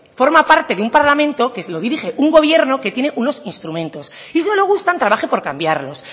forma parte de un parlamento que lo dirige un gobierno que tiene unos instrumentos si no le gustan trabaje por cambiarlos